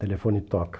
o telefone toca.